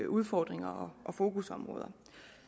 udfordringer og fokusområder